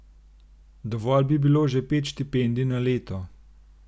Dovolj bi bilo že pet štipendij na leto.